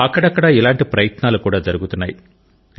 అక్కడక్కడా ఇలాంటి ప్రయత్నాలు కూడా జరుగుతున్నాయి